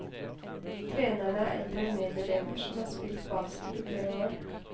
Trenerne er eldre medelever som har spilt basket i flere år.